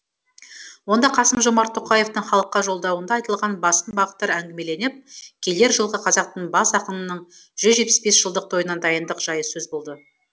онда қасым жомарт тоқаевтың халыққа жолдауында айтылған басым бағыттар әңгімеленіп келер жылғы қазақтың бас ақынының жүз жетпіс бес жылдық тойына дайындық жайы сөз болды